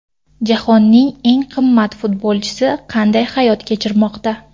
Jahonning eng qimmat futbolchisi qanday hayot kechirmoqda?